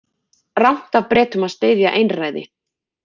Rangt af Bretum að styðja einræði